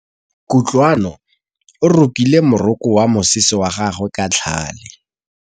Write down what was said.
Kutlwanô o rokile morokô wa mosese wa gagwe ka tlhale.